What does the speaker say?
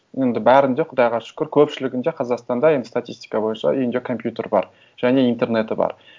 енді бәрінде құдайға шүкір көпшілігінде қазақстанда енді статистика бойынша үйінде компьютер бар және интернеты бар